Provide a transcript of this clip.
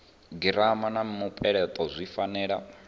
girama na mupeleto zwi fanela